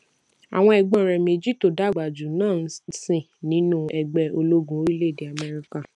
àwọn ègbón rè méjì tó dàgbà jù ú náà ń sìn nínú ẹgbé ológun orílèèdè améríkà